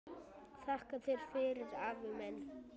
Þakka þér fyrir, afi minn.